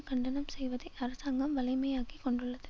கண்டனம் செய்வதை அரசாங்கம் வழமையாக்கிக்கொண்டுள்ளது